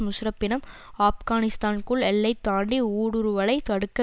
முஷாரஃபிடம் ஆப்கனிஸ்தானுக்குள் எல்லை தாண்டி ஊடுருவலை தடுக்க